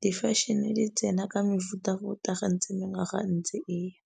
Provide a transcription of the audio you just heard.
di-fashion-e di tsena ka mefuta-futa gantsi mengwaga ntsi eya.